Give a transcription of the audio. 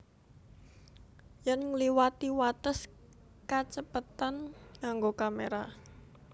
Yèn ngliwati wates kacepetan nganggo kamera